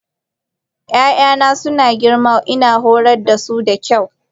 Ya'yana suna girma kuma ina horar da su da kyau.